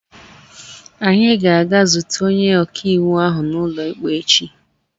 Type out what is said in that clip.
Anyị ga-aga zute onye ọka iwu ahụ n'ụlọikpe echi.